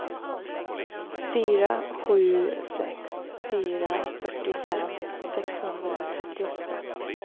fyra sju sex fyra fyrtiofem sexhundratrettioåtta